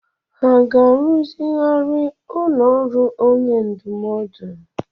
Hà ga-arụzigharị ụlọ ọrụ onye ndụmọdụ?